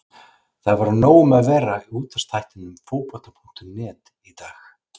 Það verður nóg um að vera í útvarpsþættinum Fótbolta.net í dag.